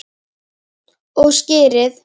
Og skyrið!